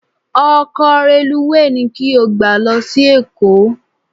Ọkọ̀ reluwé ni kí o gbé lọ sí Èkó